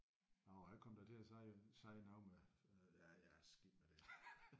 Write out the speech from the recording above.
Jo jeg kom da til at sige sige noget med øh ja ja skidt med det